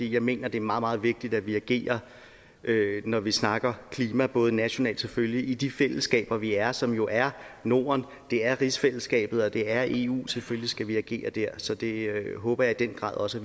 jeg mener at det er meget meget vigtigt at vi agerer når vi snakker klima både nationalt og selvfølgelig i de fællesskaber vi er i som jo er norden det er rigsfællesskabet og det er eu selvfølgelig skal vi agere der så det håber jeg i den grad også